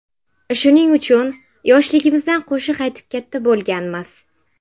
Shuning uchun, yoshligimizdan qo‘shiq aytib katta bo‘lganmiz.